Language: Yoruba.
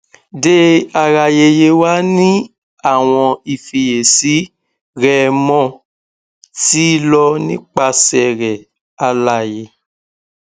dearayeye wa ni awọn ifiyesi rẹmo ti lọ nipasẹ rẹ alaye